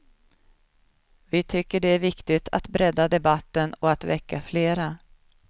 Vi tycker det är viktigt att bredda debatten och att väcka flera.